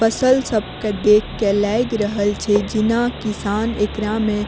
फसल सब के देख के लाएग रहल छै जना किसान एकरा में --